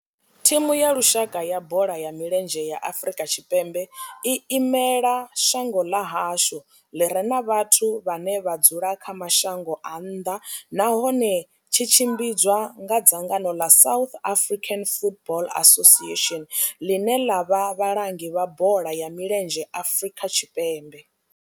Thimu ya lushaka ya bola ya milenzhe ya Afrika Tshipembe i imela shango ḽa hashu ḽi re na vhathu vhane vha dzula kha mashango a nnḓa nahone tshi tshimbidzwa nga dzangano ḽa South African Football Association, ḽine ḽa vha vhalangi vha bola ya milenzhe Afrika Tshipembe.